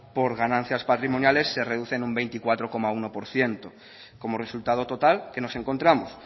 por ganancias patrimoniales se reduce un veinticuatro coma uno por ciento como resultado total qué nos encontramos